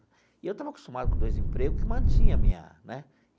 E eu estava acostumado com dois emprego que mantinha a minha né.